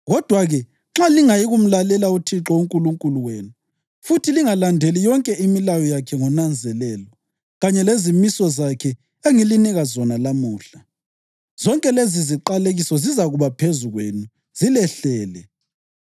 “Kodwa-ke, nxa lingayikumlalela uThixo uNkulunkulu wenu futhi lingalandeli yonke imilayo yakhe ngonanzelelo kanye lezimiso zakhe engilinika zona lamuhla, zonke leziziqalekiso zizakuba phezu kwenu zilehlele: